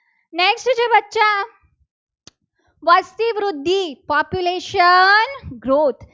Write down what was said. વસ્તી વૃદ્ધી population growth